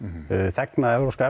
þegna evrópska